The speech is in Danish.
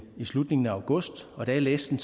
slutningen af august da jeg læste den